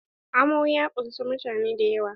Amo ya ƙunsa mutane dayawa.